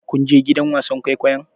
Kun je gidan wasan kwaikwayon?